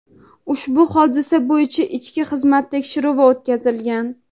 ushbu hodisa bo‘yicha ichki xizmat tekshiruvi o‘tkazilgan.